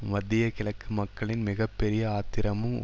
மத்திய கிழக்கு மக்களின் மிக பெரிய ஆத்திரமும்